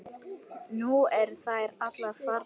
Nú eru þær allar farnar.